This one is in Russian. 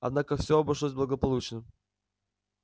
однако всё обошлось благополучно